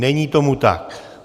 Není tomu tak.